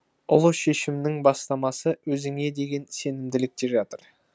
ұлы шешімнің бастамасы өзіңе деген сенімділікте жатыр